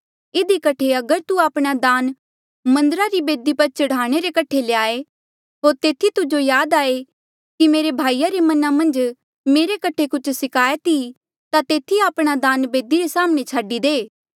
इधी कठे अगर तू आपणा दान मन्दरा री बेदी पर चढ़ाणे रे कठे ल्याए होर तेथी तुजो याद आये कि मेरे भाईया रे मना मन्झ मेरी कठे कुछ सिकायत ई ता तेथी आपणा दान बेदी रे साम्हणें छाडी दे